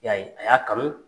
I y'a ye a y'a kanu